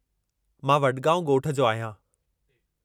मां वडगाउं ॻोठ जो आहियां।